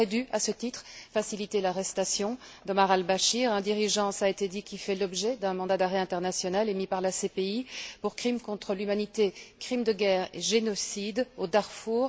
Il aurait dû, à ce titre, faciliter l'arrestation d'Omar el Béchir, un dirigeant cela a été dit qui fait l'objet d'un mandat d'arrêt international émis par la CPI pour crime contre l'humanité, crimes de guerre et génocide au Darfour.